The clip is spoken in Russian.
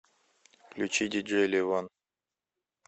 включи диджей левон